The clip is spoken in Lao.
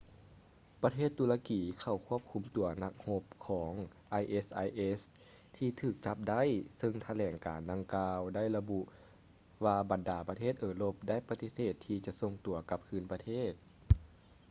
ປະເທດຕຸລະກີເຂົ້າຄວບຄຸມຕົວນັກຮົບຂອງ isis ທີ່ຖືກຈັບໄດ້ເຊິ່ງຖະແຫຼງການດັ່ງກ່າວໄລະບຸວ່າບັນດາປະເທດເອີຣົບໄດ້ປະຕິເສດທີ່ຈະສົ່ງຕົວກັບຄືນປະເທດ